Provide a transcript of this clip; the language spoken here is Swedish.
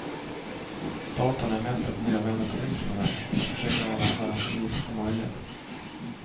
Datorn är mest ett nödvändigt ont för mig, jag försöker använda den så lite som möjligt.